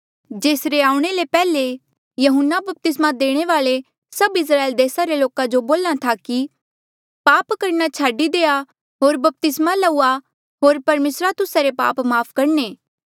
जेसरे आऊणें ले पैहले यहून्ना बपतिस्मा देणे वाल्ऐ सभ इस्राएल देसा रे लोका बोल्हा था की पाप करणा छाडी देआ होर बपतिस्मा लउआ होर परमेसरा तुस्सा रे पाप माफ़ करणे